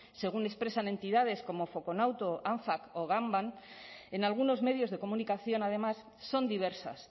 según expresan entidades como faconauto anfac o gamvam en algunos medios de comunicación además son diversas